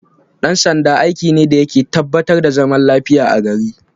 Dan sanda aiki ne dayake tabba tar da zaman lafiyar a gari